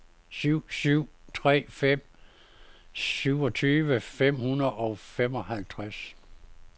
syv syv tre fem syvogtyve fem hundrede og femoghalvtreds